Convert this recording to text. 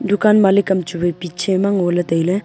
dukan malik am chu wai piche ma ngoley tailey .